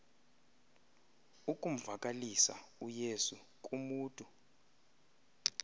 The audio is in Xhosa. ukumvakalisa uyesu kumutu